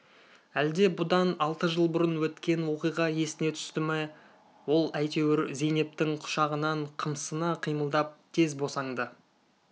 әлде бұдан алты жыл бұрын өткен оқиға есіне түсті ме ол әйтеуір зейнептің құшағынан қымсына қимылдап тез босанды